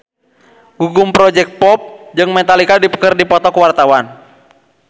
Gugum Project Pop jeung Metallica keur dipoto ku wartawan